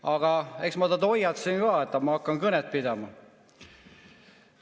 Aga eks ma teda hoiatasin ka, et hakkan kõnet pidama.